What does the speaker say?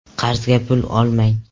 - Qarzga pul olmang.